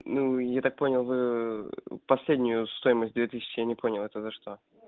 ну я так понял вы последнюю стоимость две тысячи я не понял это за что